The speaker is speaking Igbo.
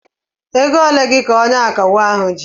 Ego ole gị ka onye akawo ahu ji?